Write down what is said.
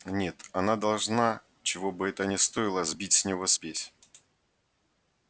нет она должна чего бы это ни стоило сбить с него спесь